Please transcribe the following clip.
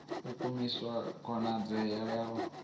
u khwinisa khonadzeo ya u